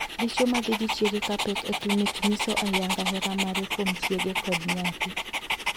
Dichwo ma dhii gi chiege ka pek e klinik nyiso ayanga hera mare kuom chiege kod nyathi.